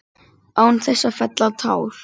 Án þess að fella tár.